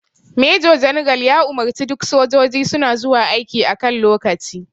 Major general ya umarce duk sojiji suna zuwa aiki a kan lokaci